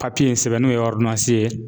in sɛbɛn n'o ye ye.